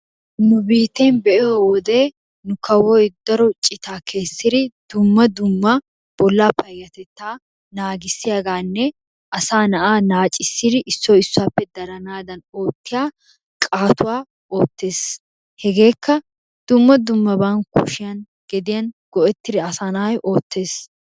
Nu biitten be'iyo wode nu kawoy daro cita kessidi dumma dumma bolla payyatettaa naagissiyaaganne asaa naa'a naaccissiri issoy issuwappe daranaddan oottiya qaattuwa oottees. Hegekka dumma dummaban kushiyaan geddiyan go"ettiri asaa nayi oottees.